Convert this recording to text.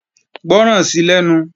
Gbọ́ràn sí lẹ́nu!